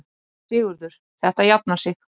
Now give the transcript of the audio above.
SÉRA SIGURÐUR: Þetta jafnar sig.